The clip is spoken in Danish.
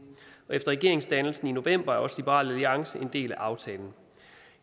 efter regeringsdannelsen i november er også liberal alliance blevet en del af aftalen